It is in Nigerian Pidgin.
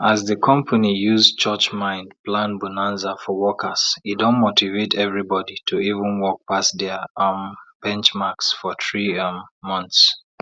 as di company use church mind plan bonanza for workers e don motivate everybody to even work pass dia um benchmarks for three um months